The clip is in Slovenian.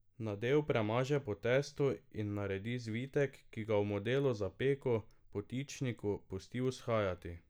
Nadev premaže po testu in naredi zvitek, ki ga v modelu za peko, potičniku, pusti vzhajati.